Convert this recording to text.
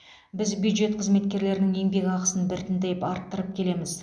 біз бюджет қызметкерлерінің еңбекақысын біртіндеп арттырып келеміз